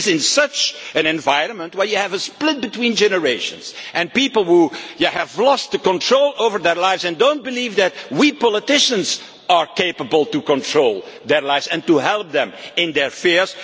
It is in such an environment that you have a split between generations and people who have lost control over their lives and do not believe that we politicians are capable of controlling their lives and helping them in their fears.